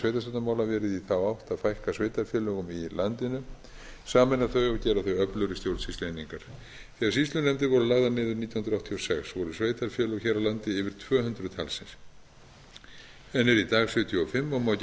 sveitarstjórnarmála verið í þá átt að fækka sveitarfélögum í landinu sameina þau og gera þau öflugri stjórnsýslueiningar þegar sýslunefndir voru lagðar niður nítján hundruð áttatíu og sex voru sveitarfélög hér á landi yfir tvö hundruð talsins en eru í dag sjötíu og fimm og má